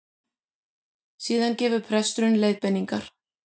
Síðan gefur presturinn leiðbeiningar